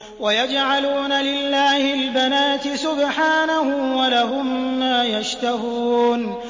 وَيَجْعَلُونَ لِلَّهِ الْبَنَاتِ سُبْحَانَهُ ۙ وَلَهُم مَّا يَشْتَهُونَ